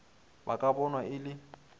ba ka bonwa e le